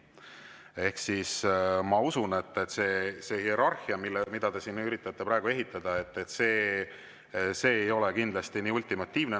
Ehk siis ma usun, et see hierarhia, mida te siin üritate praegu ehitada, ei ole kindlasti nii ultimatiivne.